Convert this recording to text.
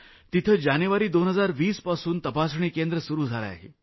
तिथं जानेवारी 2020 पासून तपासणी केंद्र सुरू केलं आहे